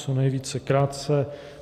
Co nejvíce krátce.